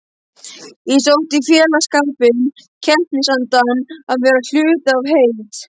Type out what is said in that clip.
Ég sótti í félagsskapinn, keppnisandann, að vera hluti af heild.